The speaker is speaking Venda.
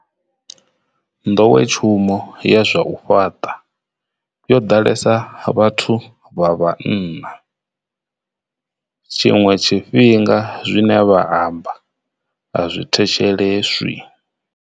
Nḓowetshumo ya zwa u fhaṱa yo ḓalesa vhathu vha vhanna. Tshiṅwe tshifhinga zwine vha amba a zwi thetsheleswi.